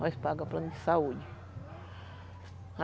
Nós pagamos plano de saúde.